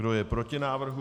Kdo je proti návrhu?